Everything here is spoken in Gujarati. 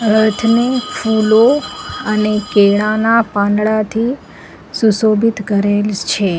રથને ફુલો અને કેળાના પાંદડાથી સુશોભિત કરેલ છે.